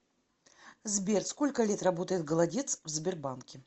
сбер сколько лет работает голодец в сбербанке